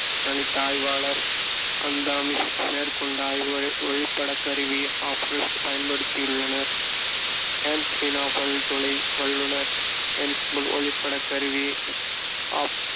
கணித்த ஆய்வாளர், அந்தாமிஸ் மேற்கொண்ட ஆய்வுகள் ஒளிப்படக் கருவி பயன்படுத்தியுள்ளனர் ஹான் சீனப் பல்துளை வல்லுநர் ஒளிப்படக் கருவி அப்~